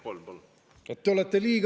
Kolm, palun!